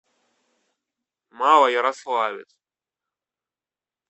малоярославец